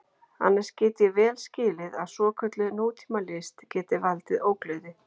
Annars get ég vel skilið að svokölluð nútímalist geti valdið ógleði.